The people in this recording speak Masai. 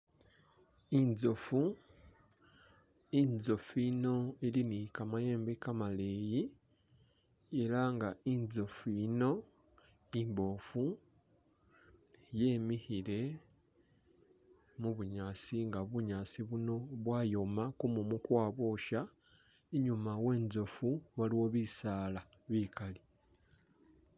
Inzofu, inzofu yino ili ni kamayembe kamaleyi ela nga inzofu yino imbofu yemikhile mu bunyaasi nga bunyaasi buno bwayoma kumumu kwabwosha, inyuma we'nzofu waliwo bisaala bikali